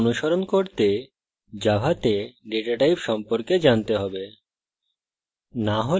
tutorial অনুসরণ করতে জাভাতে ডেটা types সম্পর্কে জানতে have